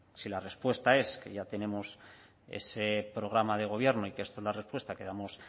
si la respuesta es que ya tenemos ese programa de gobierno y que esta es la respuesta que damos